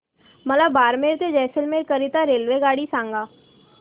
मला बारमेर ते जैसलमेर करीता रेल्वेगाडी सांगा